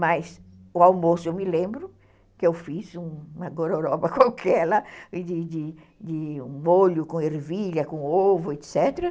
Mas o almoço, eu me lembro que eu fiz uma gororoba qualquer lá, de um molho com ervilha, com ovo, etc.